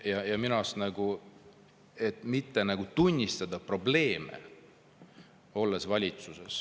Minu arust [on halb, et valitsuses olles ei tunnistata probleeme.